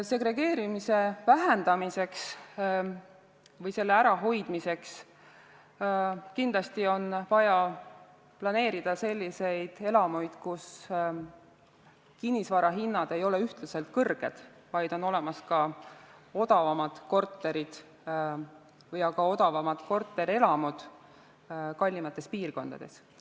Segregeerumise vähendamiseks või selle ärahoidmiseks on kindlasti vaja planeerida selliseid elamuid, kus kinnisvarahinnad ei ole ühtlaselt kõrged, vaid on olemas ka odavamaid kortereid, või ka odavamaid korterelamuid kallimatesse piirkondadesse.